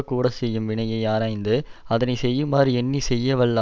கூட செய்யும் வினையை ஆராய்ந்து அதனை செய்யுமாறு எண்ணி செய்யவல்ல